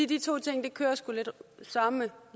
de to ting kører søreme